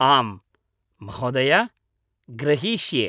आम्, महोदय, ग्रहीष्ये।